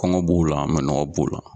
Kɔngɔ b'o la minnɔgɔ b'o la.